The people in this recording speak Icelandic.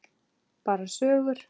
Bara sögur.